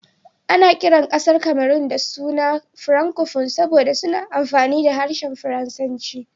Ana kiran kasar Cameron da suna "Francophone" saboda suna amfani da harshen Faransanci.